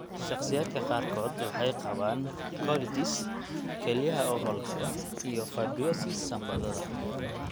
Shakhsiyaadka qaarkood waxay qabaan colitis, kelyaha oo hawlgab, iyo fibrosis sambabada.